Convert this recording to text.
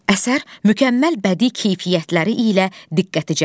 Əsər mükəmməl bədi keyfiyyətləri ilə diqqəti cəlb edir.